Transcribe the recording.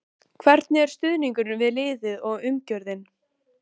Hvernig er stuðningurinn við liðið og umgjörðin?